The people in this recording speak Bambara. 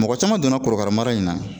Mɔgɔ caman donna korokara mara in na